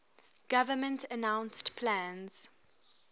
government announced plans